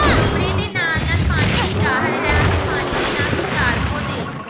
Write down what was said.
ਕਮਰੇ ਦੇ ਨਾਲ ਨਾਲ ਪਾਣੀ ਦੀ ਜ਼ਾਹਿਰ ਹੈ ਅਤੇ ਪਾਣੀ ਦੇ ਨਾਲ ਸੰਚਾਰ ਪੌਦੇ